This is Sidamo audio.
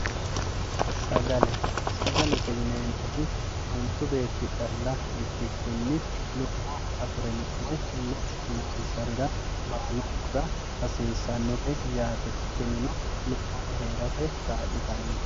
Saagalle saagallete yinemotti manchu beeti calla ikikinni lubbo afirino woyyi kubbo nonsarira baalunkura hasisanotte yaatte tinino lubbotte heeratte kalitanotte